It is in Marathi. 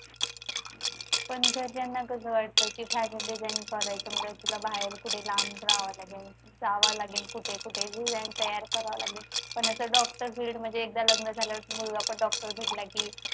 पण घरच्यांना कसं वाटतं की fashion designing करायच म्हणजे तिला बाहेर कुठे लांब राहावं लागेल जावं लागेल कुठे कुठे design तयार कराव लागेल पण नंतर doctor field म्हणजे एकदा लग्न झाल्यानंतर मुलगा पण doctor भेटला की